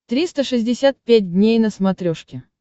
триста шестьдесят пять дней на смотрешке